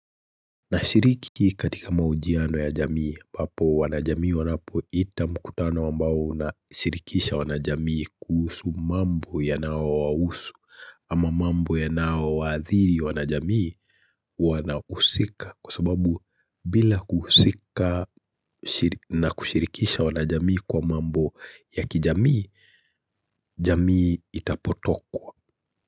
Nashiriki katika mahojiano ya jamii ambapo wanajamii wanapo ita mkutano ambao una shirikisha wanajamii kuhusu mambo yanao wahusu ama mambo yanao waathiri wanajamii wanahusika kwa sababu bila kuhusika na kushirikisha wanajamii kwa mambo ya kijamii, jamii itapotokwa.